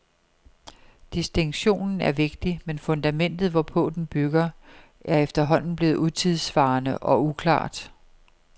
Distinktionen er vigtig, men fundamentet, hvorpå den bygger, er efterhånden blevet utidssvarende og uklart.